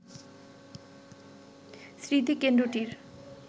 স্মৃতিকেন্দ্রটির